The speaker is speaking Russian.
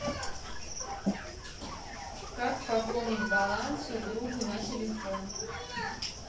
как пополнить баланс другу на телефон